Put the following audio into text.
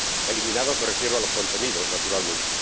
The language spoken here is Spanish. —eliminados, me refiero a los contenidos, naturalmente—.